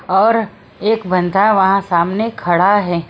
और एक बनदा वहां सामने खड़ा है।